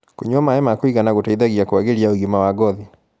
kũnyua maĩ ma kũigana gũteithagia kũagĩria ũgima wa ngothi